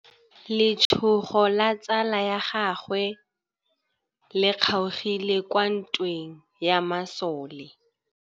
Letsôgô la tsala ya gagwe le kgaogile kwa ntweng ya masole.